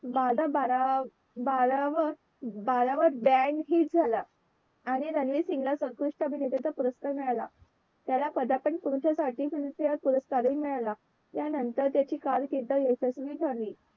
बारा बारा बाराव बाराव बॅंड हिट ठरला आणि रणवीर सिंग ला सर्वोत्कृष्ट अभिनेता पुरस्कार मिळाला त्याला पदार्पण पुरुषासाठी sincieer पुरस्कार हि मिळाला त्यानंतर त्याची कारकीर्द यशस्वी ठरली